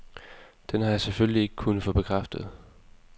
Den har jeg selvfølgelig ikke kunnet få bekræftet.